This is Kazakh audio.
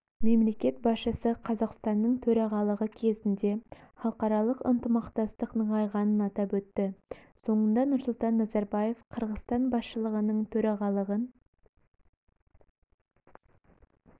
мемлекет басшысы қазақстанның төрағалығы кезінде халықаралық ынтымақтастық нығайғанын атап өтті соңында нұрсұлтан назарбаев қырғызстан басшылығының төрағалығын